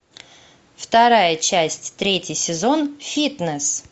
вторая часть третий сезон фитнес